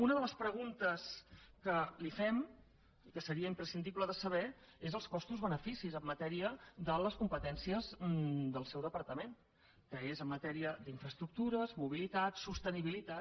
una de les preguntes que li fem i que seria imprescindible de saber és els costos beneficis en matèria de les competències del seu departament que és en matèria d’infraestructures mobilitat sostenibilitat